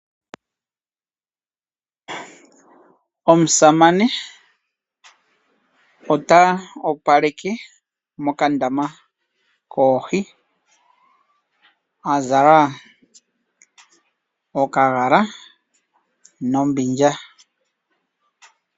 Omusamane ota opaleke mokandama koohi azala okagala nombindja.